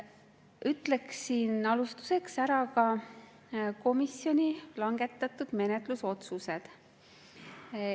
Ütlen alustuseks ära ka komisjoni langetatud menetlusotsused.